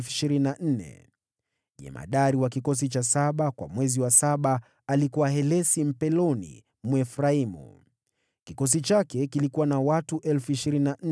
Jemadari wa kikosi cha saba kwa mwezi wa saba alikuwa Helesi Mpeloni wa Waefraimu. Kikosi chake kilikuwa na watu 24,000.